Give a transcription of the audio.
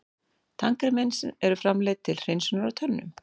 Tannkrem eru framleidd til hreinsunar á tönnum.